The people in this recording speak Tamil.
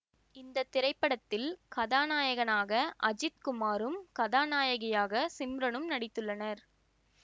இந்த திரைபடத்தில் கதாநாயகனாக அஜித் குமாரும் கதாநாயகியாக சிம்ரனும் நடித்துள்ளனர்